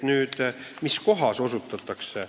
Nüüd, mis kohas õigusabi osutatakse.